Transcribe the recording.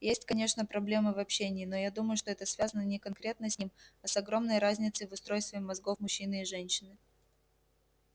есть конечно проблемы в общении но я думаю что это связано не конкретно с ним а с огромной разницей в устройстве мозгов мужчины и женщины